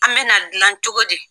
An bɛ na dilan cogo di?